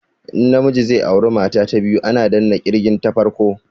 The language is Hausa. In na miji zai aura mata ta biyu ana danna kirgin ta farko